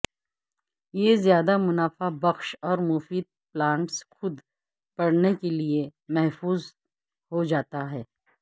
یہ زیادہ منافع بخش اور مفید پلانٹس خود بڑھنے کے لئے محفوظ ہو جاتا ہے